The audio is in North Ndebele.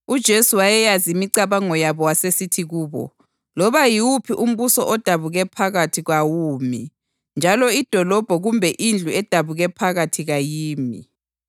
UJesu wayeyazi imicabango yabo wasesithi kubo, “Loba yiwuphi umbuso odabuke phakathi kwawumi njalo idolobho kumbe indlu edabuke phakathi kayimi.